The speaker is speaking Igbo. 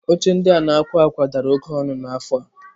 Oche ndị a na-akwa akwa dara oke ọnụ n'afọ a.